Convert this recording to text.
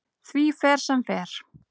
Því fer sem fer.